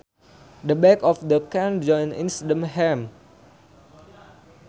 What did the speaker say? The back of the knee joint is the ham